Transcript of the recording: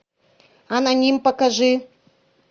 аноним покажи